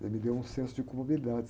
Ela me deu um senso de comorbidade.